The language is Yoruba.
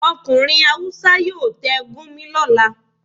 Okunrin hawúsa yọọ tẹ́ Gurmi lolà